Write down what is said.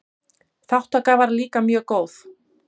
Þátttaka var líka mjög góð.